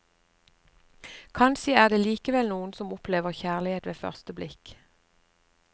Kanskje er det likevel noen som opplever kjærlighet ved første blikk.